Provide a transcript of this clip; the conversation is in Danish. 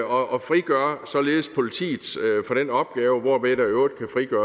og frigør således politiet for den opgave hvorved der i øvrigt kan